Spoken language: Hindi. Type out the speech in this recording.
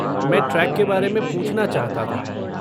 मैं ट्रेक के बारे में पूछना चाहता था।